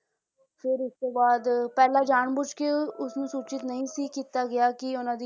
ਫਿਰ ਉਸ ਤੋਂ ਬਾਅਦ ਪਹਿਲਾਂ ਜਾਣ ਬੁੱਝ ਕੇ ਉਸਨੂੰ ਸੂਚਿਤ ਨਹੀਂ ਸੀ ਕੀਤਾ ਗਿਆ ਕਿ ਉਹਨਾਂ